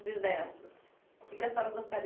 Bisnetos, que que a senhora gostaria